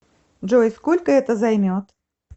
джой сколько это займет